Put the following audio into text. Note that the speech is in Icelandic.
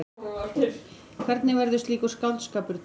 Hvernig verður slíkur skáldskapur til?